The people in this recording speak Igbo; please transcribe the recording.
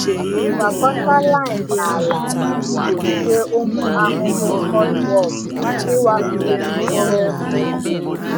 Gwakọta lime na ala iji gbochie ụmụ ahụhụ cutworm ịwakpo mkpụrụ osisi.